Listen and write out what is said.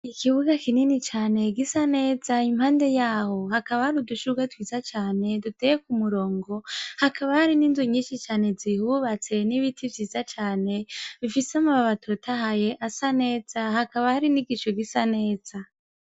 Ikibuga kinini cane gisa neza impande yaho hakaba ahari udushurwe twiza cane duteye ku murongo hakaba hari n'inzu nyinshi cane zihubatse n'ibiti vyiza cane bifise mu babattahaye asa neza hakaba hari n'igico gisa neza.